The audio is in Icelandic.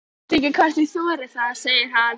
Ég veit ekki hvort ég þori það, segir hann.